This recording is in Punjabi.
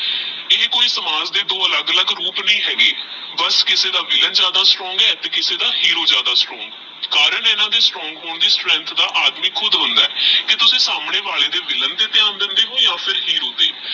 ਇਹ ਕੋਈ ਸਮਾਜ ਦੇ ਦੋ ਅਲਗ ਅਲਗ ਰੂਪ ਨਹੀ ਹੈਗੇ ਬਾਸ ਕਿਸੀ ਦਾ ਵਿਲ੍ਲਾਂ ਜਾਦਾ strong ਆਹ ਤੇਹ ਕਿਸੀ ਦਾ ਹੀਰੋ ਜਿਆਦਾ strong ਆਹ strong ਹੋਣ ਦੀ strength ਦਾ ਆਦਮੀ ਕੁਦ ਹੋਂਦਾ ਹੈ ਕੀ ਤੁਸੀਂ ਸਮੇ ਵਾਲੇ ਦੇ ਵਿਲ੍ਲਾਂ ਦੇ ਧਯਾਨ ਦੇਂਦੇ ਹੋ ਯਾ ਹੀਰੋ ਤੇਹ